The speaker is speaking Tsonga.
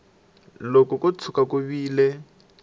loko ko tshuka ku vile